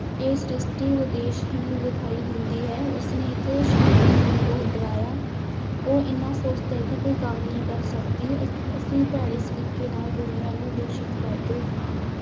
ਇਹ ਸ੍ਰਿਸ਼ਟੀ ਉਦੇਸ਼ਹੀਣ ਵਿਖਾਈ ਦਿੰਦੀ ਹੈ, ਉਸ ਨੇ ਇੱਕ ਸ਼ਾਮ ਨੂੰ ਮੈਨੂੰ ਬਹੁਤ ਡਰਾਇਆ, ਉਹ ਇੰਨਾ ਸੁਸਤ ਹੈ ਕਿ ਕੋਈ ਕੰਮ ਨਹੀਂ ਕਰ ਸਕਦੀ, ਅਸੀਂ ਭੈੜੇ ਸਲੀਕੇ ਨਾਲ ਦੁਨੀਆਂ ਨੂੰ ਦੂਸ਼ਿਤ ਕਰਦੇ ਹਾਂ।